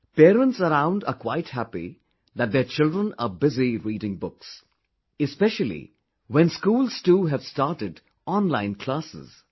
Parents around are quite happy that their children are busy reading books... especially when schools too have started online classes